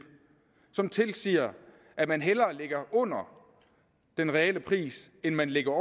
som tilsiger at man hellere ligger under den reelle pris end man ligger